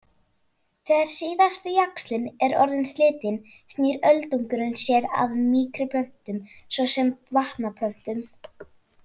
Þegar síðasti jaxlinn er orðinn slitinn snýr öldungurinn sér að mýkri plöntum svo sem vatnaplöntum.